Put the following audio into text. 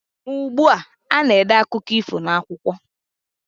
Ma ugbua, a na-ede akụkọ ifo n'akwụkwọ.